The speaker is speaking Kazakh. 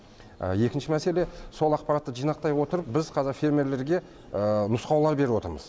екінші мәселе сол ақпаратты жинақтай отырып біз қазір фермерлерге нұсқаулар беріп отырмыз